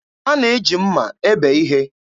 A na-eji mma ebe ihe.